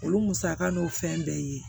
Olu musaka n'o fɛn bɛɛ ye